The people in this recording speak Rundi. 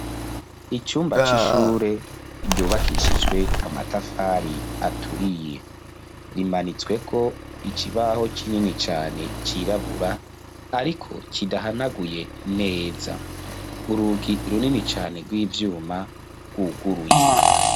Icumba c'ishure ryubakishijwe amatafari aturiye rimanitswe ko ikibaho kinini cane cyirabura ariko kidahanaguye neza urugi runini cane rw'ivyuma rwuguruye.